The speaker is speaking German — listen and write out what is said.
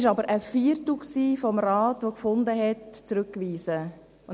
Es war aber ein Viertel des Rates, der für die Rückweisung war.